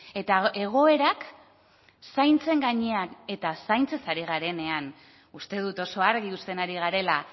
eta egoerak zaintzen gainean eta zaintzaz ari garenean uste dut oso argi uzten ari garela